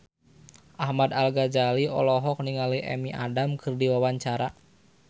Ahmad Al-Ghazali olohok ningali Amy Adams keur diwawancara